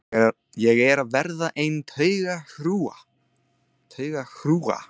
Ég er að verða ein taugahrúga.